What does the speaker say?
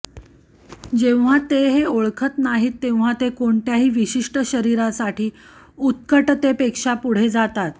जेव्हा ते हे ओळखत नाहीत तेव्हा ते कोणत्याही विशिष्ट शरीरासाठी उत्कटतेपेक्षा पुढे जातात